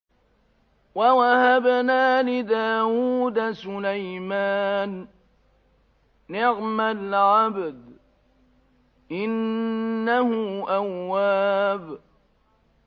وَوَهَبْنَا لِدَاوُودَ سُلَيْمَانَ ۚ نِعْمَ الْعَبْدُ ۖ إِنَّهُ أَوَّابٌ